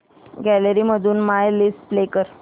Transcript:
gallery मधून my list play कर